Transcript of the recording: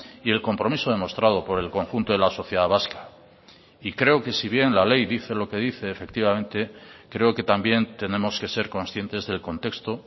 y el compromiso demostrado por el conjunto de la sociedad vasca y creo que si bien la ley dice lo que dice efectivamente creo que también tenemos que ser conscientes del contexto